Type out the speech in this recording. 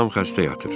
Anam xəstə yatır.